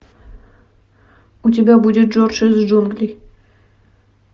у тебя будет джордж из джунглей